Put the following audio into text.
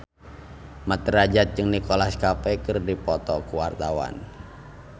Mat Drajat jeung Nicholas Cafe keur dipoto ku wartawan